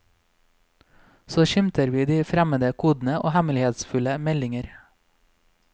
Så skimter vi de fremmede kodene og hemmelighetsfulle meldinger.